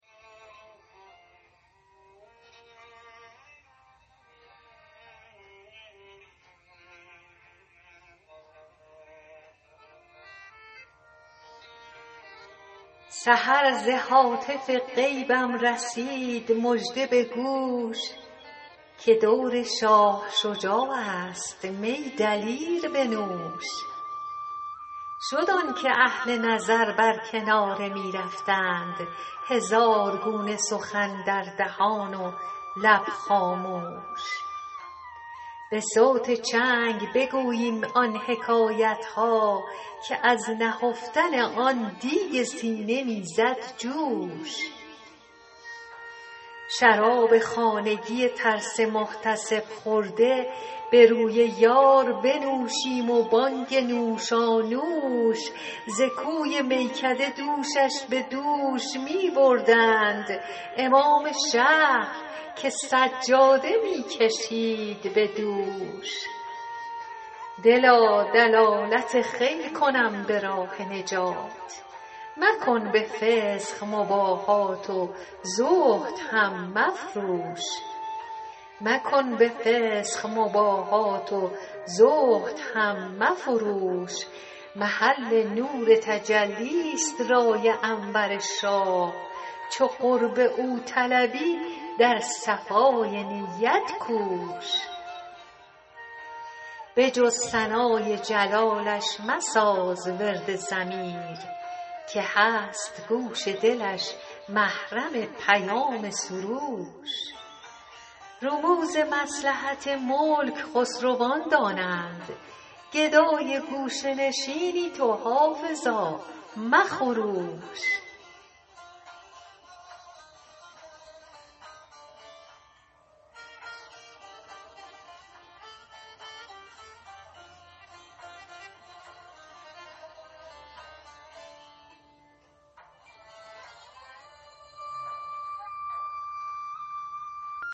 سحر ز هاتف غیبم رسید مژده به گوش که دور شاه شجاع است می دلیر بنوش شد آن که اهل نظر بر کناره می رفتند هزار گونه سخن در دهان و لب خاموش به صوت چنگ بگوییم آن حکایت ها که از نهفتن آن دیگ سینه می زد جوش شراب خانگی ترس محتسب خورده به روی یار بنوشیم و بانگ نوشانوش ز کوی میکده دوشش به دوش می بردند امام شهر که سجاده می کشید به دوش دلا دلالت خیرت کنم به راه نجات مکن به فسق مباهات و زهد هم مفروش محل نور تجلی ست رای انور شاه چو قرب او طلبی در صفای نیت کوش به جز ثنای جلالش مساز ورد ضمیر که هست گوش دلش محرم پیام سروش رموز مصلحت ملک خسروان دانند گدای گوشه نشینی تو حافظا مخروش